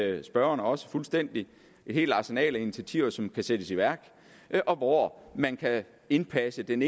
det ved spørgeren også fuldstændig et helt arsenal af initiativer som kan sættes i værk og hvor man kan indpasse den